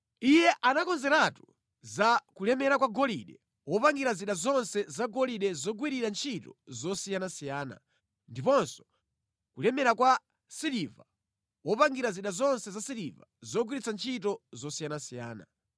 Iye anakonzeratu za kulemera kwa golide wopangira zida zonse zagolide zogwirira ntchito zosiyanasiyana, ndiponso kulemera kwa siliva wopangira zida zonse zasiliva zogwirira ntchito zosiyanasiyana: